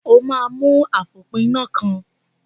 O máa mú àfòpiná kan.